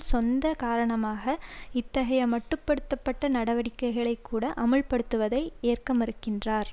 சொந்த காரணமாக இத்தகைய மட்டு படுத்த பட்ட நடவடிக்கைகளை கூட அமல்படுத்துவதை ஏற்கமறுக்கின்றார்